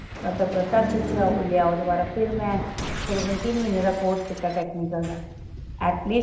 ਤੇ ਉਹਦੇ touch ਵਿੱਚ ਆਓ ਦੁਬਾਰਾ ਫ਼ੇਰ ਮੈਂ ਤਕਰੀਬਨ ਤਿੰਨ ਮਹੀਨੇ ਦਾ course ਕੀਤਾ technical ਦਾ